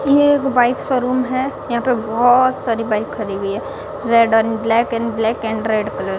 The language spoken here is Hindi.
ये एक बाइक शोरूम है यहां पे बहोत सारी बाइक खड़ी हुई है red and black and black and red colour --